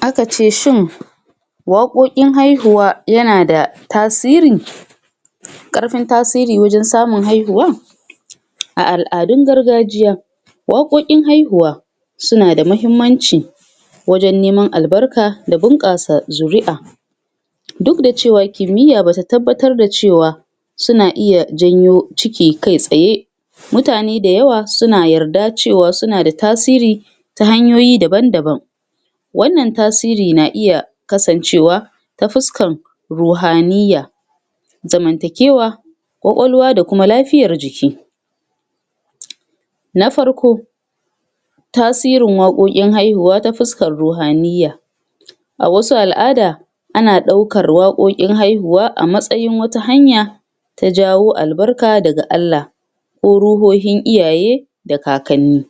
Akace shin waƙoƙin haihuwa yana da tasiri? ƙarfin tasiri wajen samun haihuwa? A al'adun gargajiya waƙoƙin haihuwa su na da mahimmanci wajen neman albarka da bunƙasa zuri'a duk da cewa kimiyya bata tabbatar da cewa su na iya janyo ciki ka tsaye mutane da yawa su na yarda cewa su na da tasiri ta hanyoyi daban-daban. Wannan tasiri na iya kasancewa ta fuskan ruhaniyya zamantakewa, ƙwaƙwalwa da kuma lafiyar jiki. Na farko, tasirin waƙoƙin haihuwa ta fuskar rohaniyya. A wasu al'ada, ana ɗaukar waƙoƙin haihuwa a matsayin wata hanya ta jawo albarka da Allah, ko ruhohin iyaye, da kakanni.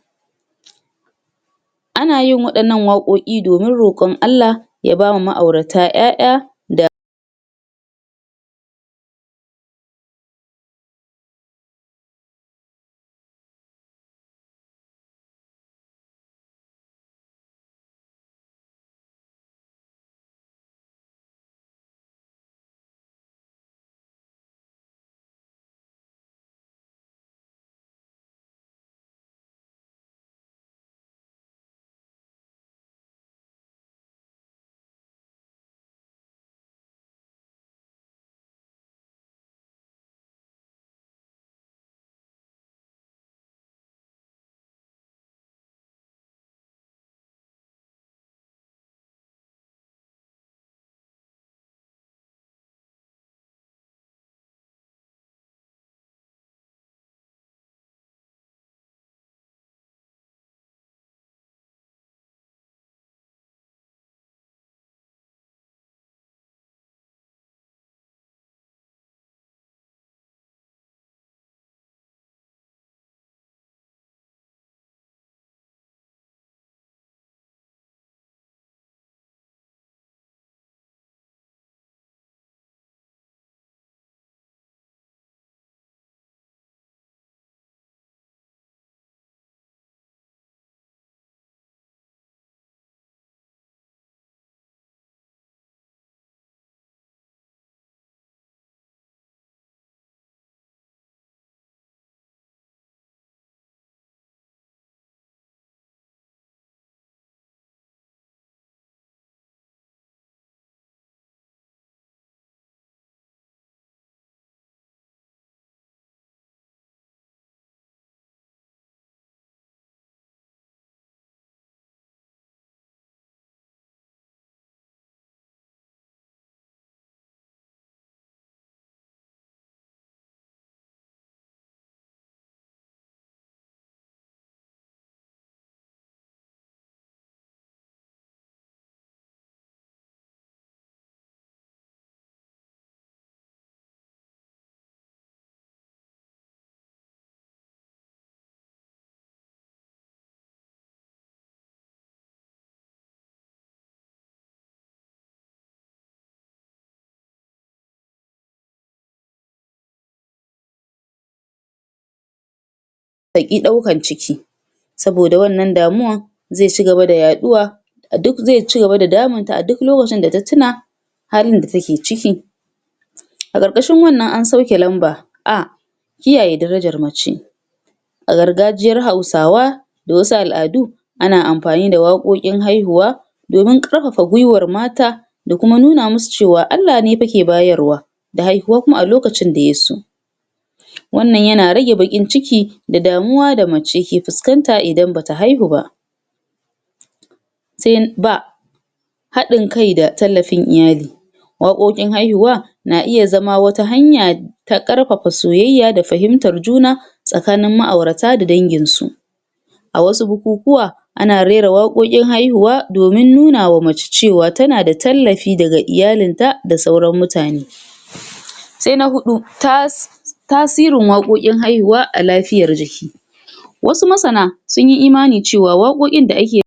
Ana yin waɗannan waƙoƙi domin roƙon Allah ya bama ma'aurata 'ya'ya da ta ƙi ɗaukan ciki. saboda wannan damuwar zai cigaba da yaɗuwa um zai ci gaba da damunta a duk lokacin da ta tuna halin da take ciki. A ƙarƙashin wannan an sauke lamba: A. Kiyaye darajar mace, a gargajiyra Hausawa da wasu al'adu ana amfani da waƙoƙin haihuwa domin ƙarfafa gwiwar mata da kuma nuna musu cewa Allah ne fa ke bayarwa da haihuwa kuma a lokacin da ya so. Wannan yana rage baƙin ciki da damuwa da mace ke fuskanat idan bata haihu ba. Sai B. Haɗin kai da tallafin iyali waƙoƙin haihuwa na iya zama wata hanya ta ƙarfafa soyayya da fahimtar juna tsakanin ma'aurata da dangin su. a asu bukukuwa ana rera waƙoƙin haihuwa domin nuna wa mace cewa tana da tallafi daga iyalinta da sauran mutane. Sai na huɗu,[um] tasirin waƙoƙin haihuwa a lafiyar jiki. Wasu masana, sunyi imanin cewa waƙoƙin da ake